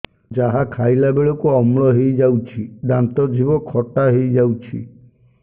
ଯାହା ଖାଇଲା ବେଳକୁ ଅମ୍ଳ ହେଇଯାଉଛି ଦାନ୍ତ ଜିଭ ଖଟା ହେଇଯାଉଛି